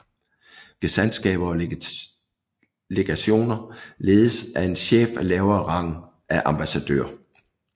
Gesandtskaber og legationer ledes af en chef af lavere rang af ambassadør